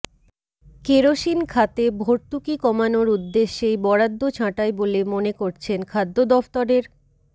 kerosene খাতে ভর্তুকি কমানোর উদ্দেশ্যেই বরাদ্দ ছাঁটাই বলে মনে করছেন খাদ্য দফতরের